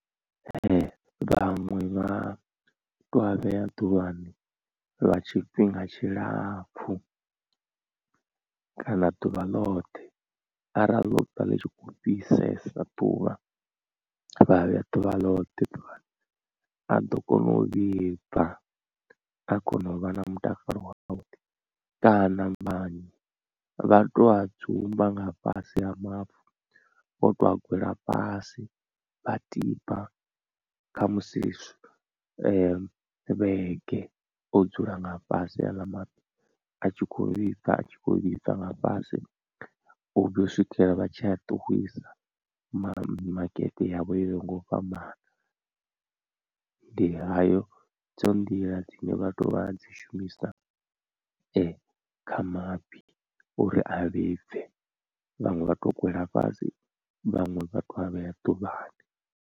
Vhaṅwe vha to a vhea ḓuvhani lwa tshifhinga tshilapfhu kana ḓuvha ḽoṱhe arali ḽo vha ḽi tshi khou fhisesa ḓuvha vhaa vhea ḓuvha ḽoṱhe ḓuvhani a ḓo kona u vhibva a kona u vha na mutakalo wavhuḓi. Kana maṅwe vha to a dzumba nga fhasi ha mavu vho to a gwela fhasi vha tiba khamusi vhege o dzula nga fhasi aḽa maḓi a tshi kho vhibva a tshi khou vhibva nga fhasi u vhuya u swikela vha tshi a ṱuwisa mimakete yavho yo yaho nga u fhambana, ndi hayo dzo nḓila dzine vhathu vha dzi shumisa kha mafhi uri a vhibve vhaṅwe vha to gwela fhasi vhaṅwe vha to a vhea ḓuvhani.